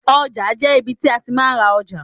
Ọjà jẹ́ ibi tí a ti máa ń ra ọjà.